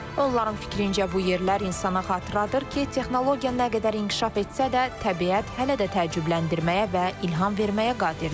Onların fikrincə bu yerlər insana xatırladır ki, texnologiya nə qədər inkişaf etsə də, təbiət hələ də təəccübləndirməyə və ilham verməyə qadirdir.